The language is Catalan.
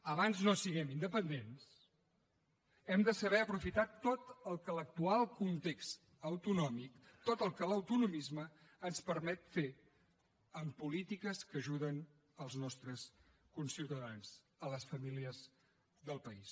abans no siguem independents hem de saber aprofitar tot el que l’actual context autonòmic tot el que l’autonomisme ens permet fer amb polítiques que ajuden els nostres conciutadans les famílies del país